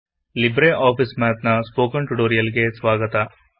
Libre ಆಫೀಸಿನ spoken tutorial ಗೆ ಸ್ವಾಗತ